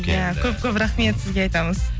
иә көп көп рахмет сізге айтамыз